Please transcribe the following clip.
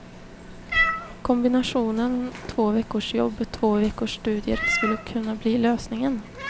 Kombinationen två veckors jobb, två veckors studier skulle kunna bli lösningen.